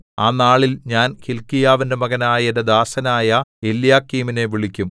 ആ നാളിൽ ഞാൻ ഹില്ക്കീയാവിന്റെ മകനായ എന്റെ ദാസനായ എല്യാക്കീമിനെ വിളിക്കും